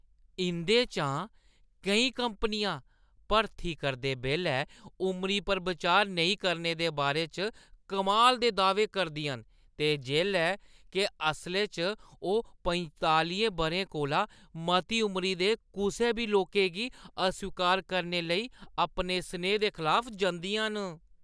इंʼदे चा केईं कंपनियां भर्ती करदे बेल्लै उमरी पर बिचार नेईं करने दे बारे च कमाल दे दाह्‌वे करदियां न ते जेल्लै के असलै च, ओह् पंतालियें बʼरें कोला मती उमरी दे कुसै बी लोकें गी अस्वीकार करने लेई अपने सनेहे दे खलाफ जंदियां न।